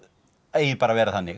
eigi bara að vera þannig